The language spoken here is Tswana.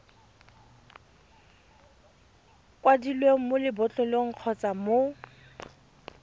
kwadilweng mo lebotlolong kgotsa mo